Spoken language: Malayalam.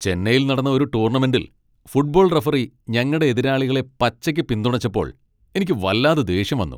ചെന്നൈയിൽ നടന്ന ഒരു ടൂർണമെൻ്റിൽ ഫുട്ബോൾ റഫറി ഞങ്ങടെ എതിരാളികളെ പച്ചയ്ക്ക് പിന്തുണച്ചപ്പോൾ എനിക്ക് വല്ലാതെ ദേഷ്യം വന്നു.